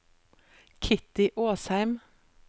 Kitty Åsheim